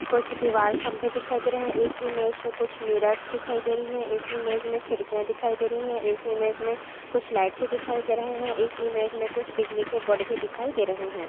कुछ दीवार खम्बे दिखाई दे रहे हैं। इस इमेज में कुछ मिरर दिखाई दे रही हैं। इस इमेज में खिड़किया दिखाई दे रही हैं। इस इमेज में कुछ लाइटस दिखाई दे रहे हैं। इस इमेज में कुछ बिजली के बोर्ड भी दिखाई दे रहे हैं।